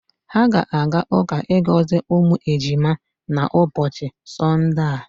Ha ga-aga uka igozi umu ejima na ubochi sonde a.